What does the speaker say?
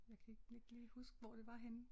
Jeg kan ikke lige huske hvor det var henne